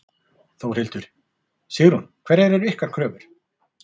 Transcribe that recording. Þórhildur: Sigrún, hverjar eru ykkar kröfur?